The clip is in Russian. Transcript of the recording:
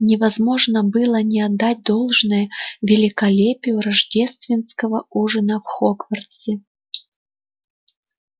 невозможно было не отдать должное великолепию рождественского ужина в хогвартсе